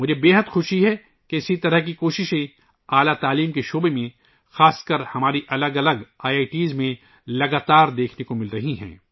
مجھے بے حد خوشی ہے کہ اس طرح کی کوششیں اعلیٰ تعلیم کے میدان میں ، خاص طور پر ہمارے مختلف آئی آئی ٹیز میں مسلسل دیکھی جا رہی ہیں